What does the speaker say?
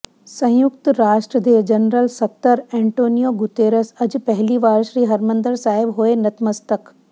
ਸੰਯੁਕਤ ਰਾਸ਼ਟਰ ਦੇ ਜਨਰਲ ਸਕੱਤਰ ਐਂਟੋਨੀਓ ਗੁਤੇਰਸ ਅੱਜ ਪਹਿਲੀ ਵਾਰ ਸ੍ਰੀ ਹਰਿਮੰਦਰ ਸਾਹਿਬ ਹੋਏ ਨਤਮਸਤਕ